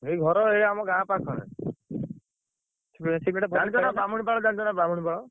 ଏଇ ଘର ଏଇ ଆମ ଗାଁ ପାଖରେ। ଜାଣିଛ ନା ବ୍ରାହମୁଣିପାଳ ଜାଣିଛ ନା ବ୍ରାହମୁଣି ପାଳ?